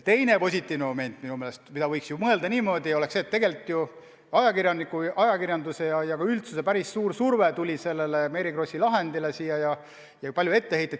Teine positiivne moment on, võiks ju mõelda ka niimoodi, et ajakirjanduse ja ka üldsuse päris suur surve kaasnes selle Mary Krossi juhtumiga.